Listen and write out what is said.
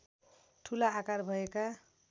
ठुला आकार भएका